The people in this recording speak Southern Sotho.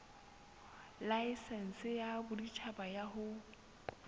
laesense ya boditjhaba ya ho